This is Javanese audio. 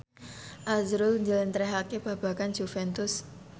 azrul njlentrehake babagan Juventus